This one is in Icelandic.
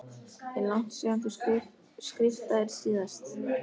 Er langt síðan þú skriftaðir síðast?